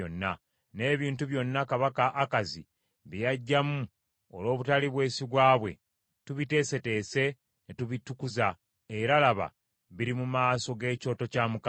N’ebintu byonna kabaka Akazi bye yaggyamu olw’obutali bwesigwa bwe, tubiteeseteese ne tubitukuza, era laba biri mu maaso g’ekyoto kya Mukama .”